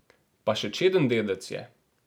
Pa še čeden dedec je...